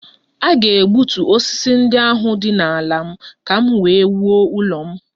A ga- egbutu osisi ndị ahụ dị n' ala m ka m wee wuo ụlọ m.